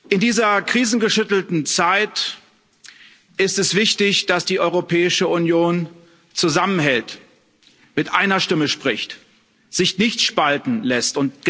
In dieser krisengeschüttelten Zeit ist es wichtig, dass die Europäische Union zusammenhält, mit einer Stimme spricht, sich nicht spalten lässt.